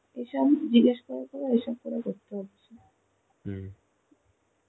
এইসব জিগ্যেস করে করে এই সব করে করতে হয়.